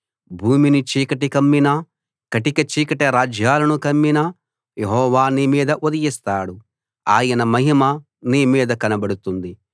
భూమిని చీకటి కమ్మినా కటిక చీకటి రాజ్యాలను కమ్మినా యెహోవా నీ మీద ఉదయిస్తాడు ఆయన మహిమ నీ మీద కనబడుతుంది